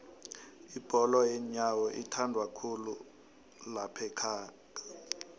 ibholo yenyowo ithandwakhulu laphaekhaga